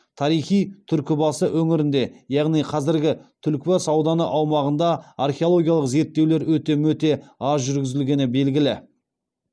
тарихи түркі басы өңірінде яғни қазіргі түлкібас ауданы аумағында археологиялық зерттеулер өте мөте аз жүргізілгені белгілі